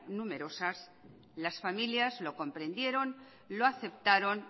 numerosas las familias lo comprendieron lo aceptaron